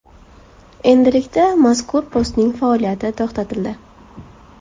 Endilikda mazkur postning faoliyati to‘xtatildi.